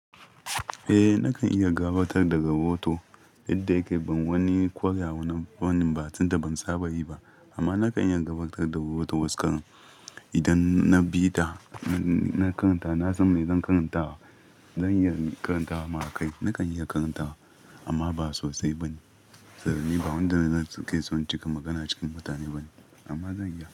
Eh nakan iya gabatar da rahoto yadda yake ban wani ƙware a wanan fanin ba tunda ban saba yi ba amma nakan iya gabatar da rahoto waskar idan na bi da na karanta, na san me zan karanta zan iya karanta mara kai nakan iya karanta amma ba sosai bane saboda ni ba wanda zan kai son cika magana cikin mutane bane amma zan iya.